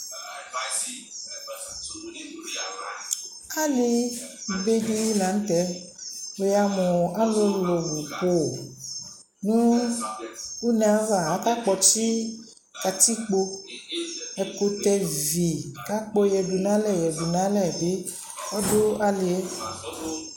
ali bɛ di lantɛ, ni yamʋ alʋlʋ ni kʋ nʋ ɔnɛ aɣa aka kpɔtsi katikpɔ, ɛkʋtɛ vi kʋ akpɔ yɛdʋ nʋ alɛ yɛdʋ nʋ alɛ bi ɔdʋ aliɛ